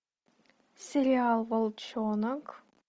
сериал волчонок